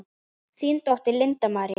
Þín dóttir, Linda María.